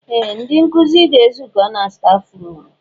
Ee! Ndị nkụzi ga-ezukọ na staf ruum.